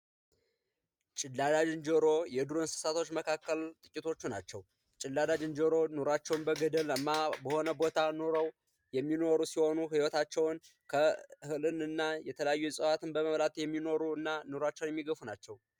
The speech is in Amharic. ጭላዳ ዝንጀሮ የዱር እንስሳቶች መካከል ጥቂቶቹ ናቸው። ጭላዳ ዝንጀሮ ኖሯቸውን በገደላማ በሆነ ቦታ የሚኖሩ የሚኖሩ ሲሆኑ ህይወታቸው እህልንና የተለያዩ እፀዎትን በመብላት የሚኖሩና ኑሯቸውን የሚገፉ ናቸው።